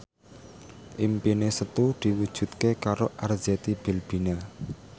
impine Setu diwujudke karo Arzetti Bilbina